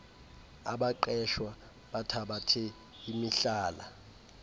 abaqeshwa bathabathe imihlala